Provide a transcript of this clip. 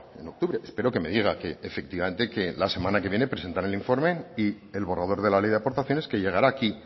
en octubre espero que me diga que efectivamente que la semana que viene presentarán el informe y el borrador de la ley de aportaciones que llegará aquí